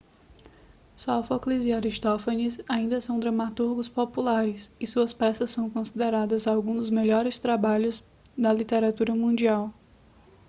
sófocles e aristófanes ainda são dramaturgos populares e suas peças são consideradas alguns dos melhores trabalhos da literatura mundial